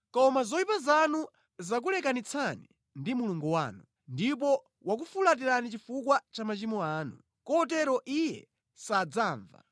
Koma zoyipa zanu zakulekanitsani ndi Mulungu wanu; ndipo wakufulatirani chifukwa cha machimo anu, kotero Iye sadzamva.